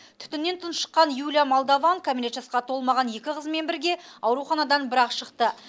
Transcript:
түтіннен тұншыққан юлия молдован кәмелет жасқа толмаған екі қызымен бірге ауруханадан бір ақ шықты